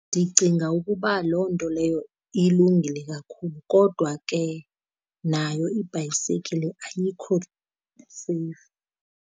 Ndicinga ukuba loo nto leyo ilungile kakhulu, kodwa ke nayo ibhayisekile ayikho seyifu.